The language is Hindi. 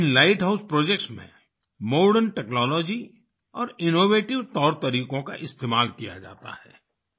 इन लाइट हाउस प्रोजेक्ट्स में मॉडर्न टेक्नोलॉजी और इनोवेटिव तौरतरीकों का इस्तेमाल किया जाता है